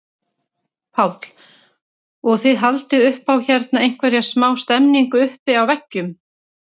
Páll: Og þið haldið upp á hérna einhverja smá stemningu uppi á veggjum?